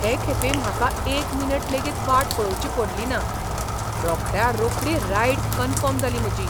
हे खेपे म्हाका एकमिनिट लेगीत वाट पळोवची पडली ना. रोखड्या रोखडी रायड कन्फर्म जाली म्हजी.